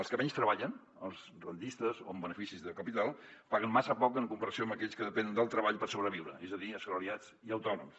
els que menys treballen els rendistes o amb beneficis de capital paguen massa poc en comparació amb aquells que depenen del treball per sobreviure és a dir assalariats i autònoms